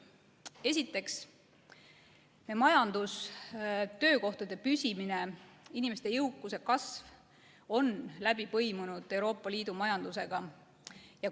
Esiteks, majandus, töökohtade püsimine ja inimeste jõukuse kasv on läbi põimunud Euroopa Liidu majandusega.